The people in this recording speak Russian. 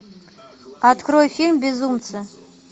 открой фильм безумцы